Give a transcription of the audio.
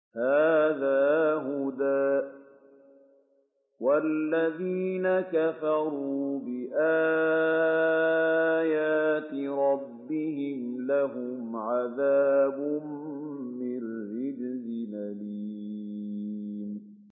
هَٰذَا هُدًى ۖ وَالَّذِينَ كَفَرُوا بِآيَاتِ رَبِّهِمْ لَهُمْ عَذَابٌ مِّن رِّجْزٍ أَلِيمٌ